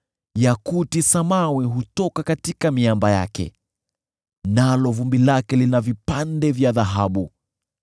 yakuti samawi hutoka katika miamba yake, nalo vumbi lake lina vipande vya dhahabu.